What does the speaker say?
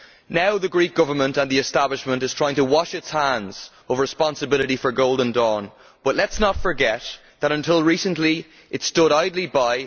Now the Greek Government, the Greek establishment, is trying to wash its hands of responsibility for Golden Dawn, but let us not forget that until recently it stood idly by